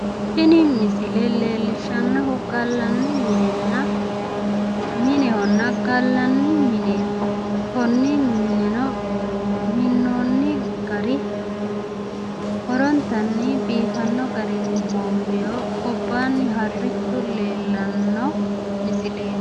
tini misile leellishshannohu gallanni minenna minehonna gallanni mineeti konne mineno minnoonni gari horontanni biifanno garinni hoomboonni gobbaanni harrichu leellanno misileeti.